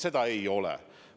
Seda seost ei ole.